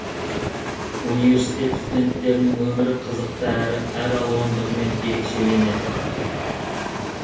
университет студенттерінің өмірі қызықты әрі әр алуандығымен ерекшеленеді